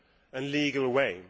and legal way